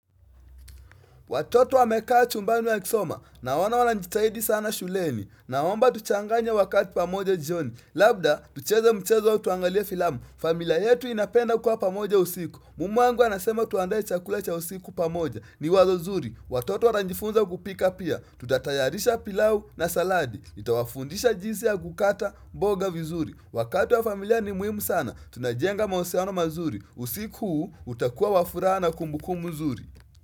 Watoto wamekaa chumbani wakisoma, naona wanajitahidi sana shuleni, naomba tuchanganye wakati pamoja jioni, labda tucheze mchezo au tuangalie filamu, familia yetu inapenda kuwa pamoja usiku, mume wangu anasema tuandae chakula cha usiku pamoja, ni wazo nzuri, watoto watajifunza kupika pia, tutatayarisha pilau na saladi, nitawafundisha jinsi ya kukata, mboga vizuri, wakati wa familia ni muhimu sana, tunajenga mahusiano mazuri, usiku huu utakuwa wa furaha na kumbukumbu nzuri.